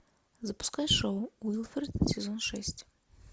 запускай шоу уилфред сезон шесть